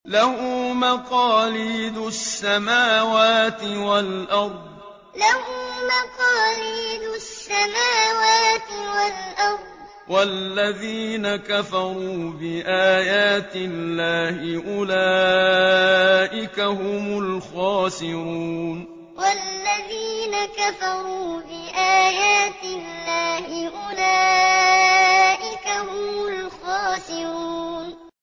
لَّهُ مَقَالِيدُ السَّمَاوَاتِ وَالْأَرْضِ ۗ وَالَّذِينَ كَفَرُوا بِآيَاتِ اللَّهِ أُولَٰئِكَ هُمُ الْخَاسِرُونَ لَّهُ مَقَالِيدُ السَّمَاوَاتِ وَالْأَرْضِ ۗ وَالَّذِينَ كَفَرُوا بِآيَاتِ اللَّهِ أُولَٰئِكَ هُمُ الْخَاسِرُونَ